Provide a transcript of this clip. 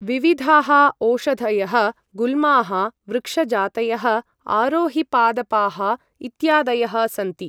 विविधाः ओषधयः गुल्माः वृक्षजातयः आरोहिपादपाः इत्यादयः सन्ति ।